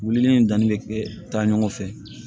Wulili ni danni bɛ kɛ taa ɲɔgɔn fɛ